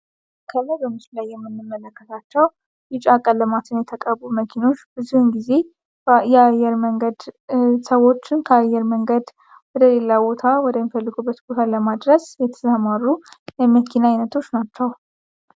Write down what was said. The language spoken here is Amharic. ከላይ በምስሉ ላይ የምንመለከታቸው ቢጫ ቀለማትን የተቀቡ መኪኖች ብዙ ጊዜ የአየር መንገድ ሰዎች ከአየር መንገድ ወደ ሌላ ቦታ ወደሚፈልጉበት ቦታ ለማድረስ የሚሰማሩ የመኪና ዓይነቶች ናቸው።